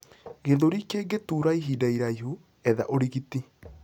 gĩthũri kingituura ihinda iraihu, etha urigiti